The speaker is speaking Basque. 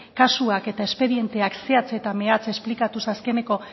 kasuak eta espedienteak zehatz eta mehatz esplikatu ze azkeneko